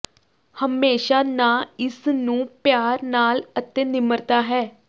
ਹਮੇਸ਼ਾ ਨਾ ਇਸ ਨੂੰ ਪਿਆਰ ਨਾਲ ਅਤੇ ਨਿਮਰਤਾ ਹੈ